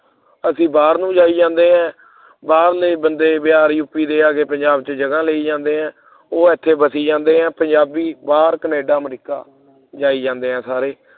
ਅਸੀਂ ਬਾਹਰ ਨੂੰ ਜਾਈ ਜਾਨੇ ਆ ਬਾਹਰਲੇ ਬੰਦੇ ਬਿਹਾਰੀ ਯੂਪੀ ਦੇ ਆ ਕੇ ਪੰਜਾਬ ਦੇ ਵਿੱਚ ਜਗਾ ਲਈ ਜਾਂਦੇ ਐ ਉਹ ਇੱਥੇ ਬਹਿ ਜਾਂਦੇ ਆ ਪੰਜਾਬੀ ਬਾਹਰ America Canada ਜਾਈ ਜਾਂਦੇ ਆ ਸਾਰੇ